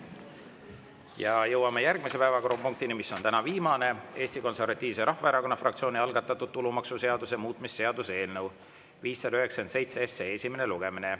Ja jõuame järgmise päevakorrapunktini, mis on täna viimane: Eesti Konservatiivse Rahvaerakonna fraktsiooni algatatud tulumaksuseaduse muutmise seaduse eelnõu 597 esimene lugemine.